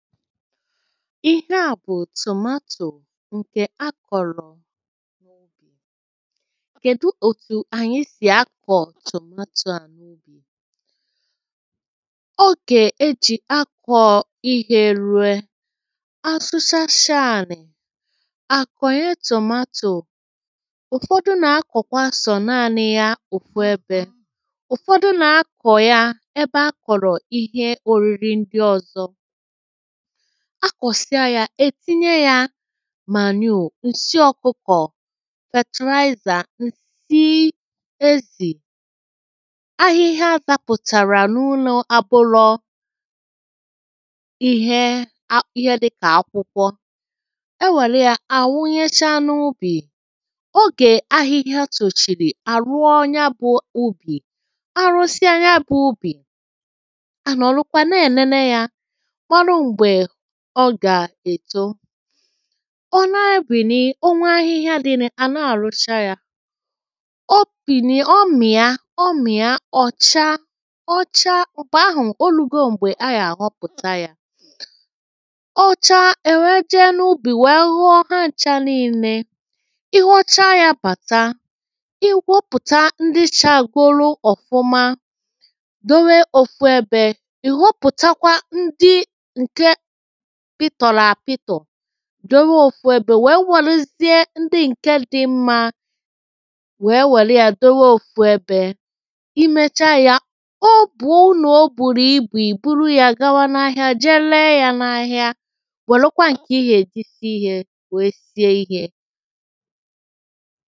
ihe à bụ̀ tomatoe nkè akọ̀rọ̀ kèdụ òtù ànyị sì akọ̀ tomatoe anyị? ọ gè e jì akọ̀ ihe eru̇e a sụchasịa ànị̀ à kọ̀nye tomatoe ụ̀fọdụ nà-akọ̀kwa sọ̀ naanị̇ ya ụ̀fu ebė ụ̀fọdụ nà-akọ̀ ya ebe akọ̀rọ̀ ihe òriri ndị ọ̀zọ a kọ̀sịa yȧ ètinye yȧ manure, ụ̀sị ọkụkọ̀ fètị̀laizà nsị ezì ahịhịa zȧpụ̀tàrà n’ụlọ̇ abụlọ ihe dịkà akwụkwọ e wèlụ yȧ à wụnyecha n’ubì ogè ahịhịa tòchìrì àrụọ ya bụ̇ ubì arụsịa ya bụ̇ ubì à nà ọ̀lụkwa na-ènene yȧ ọ gà-èto ọ na-ebìni, o nwee ahịhịa dịrị, àna-àrụcha yȧ o pìnì ọ mìa ọ mìa ọ̀ chaa ọ chaa m̀gbè ahụ̀ o lugo m̀gbè a yà-àhọpụ̀ta yȧ ọ chaa èwe jee n’ubì wèe ghọọ ha ǹcha niilė ị ghọchaa yȧ bàta ị wọpụ̀ta ndị chagolu ọ̀fụma dowe òfu ebė ị̀ họpụ̀takwa ndị dowe òfu ebė wèe wèlụzịe ndị ǹke dị̇ mmȧ wèe wèlụ yȧ dowe òfu ebė i mechaa yȧ o bùo n’ o bùrù ibù ì buru yȧ gawa n’ ahịa jee lee yȧ n’ ahịa wèlụkwa ǹkè ị gà-èji si ihė wèe sie ihė